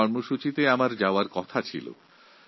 ওই অনুষ্ঠানে আমার উপস্থিত থাকার কথা ছিল